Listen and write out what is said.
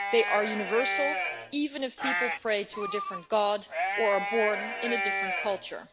They are universal, even if people pray to a different god or are born in a different culture.